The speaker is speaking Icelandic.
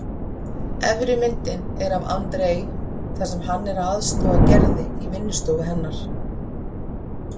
Efri myndin er af André þar sem hann er að aðstoða Gerði í vinnustofu hennar.